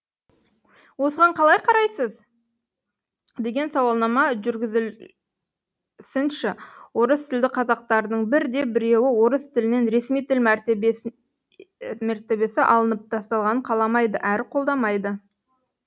осыған қалай қарайсыз деген сауалнама жүргізілсінші орыстілді қазақтардың бірде біреуі орыс тілінен ресми тіл мәртебесі алынып тасталғанын қаламайды әрі қолдамайды